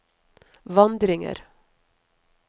vandringer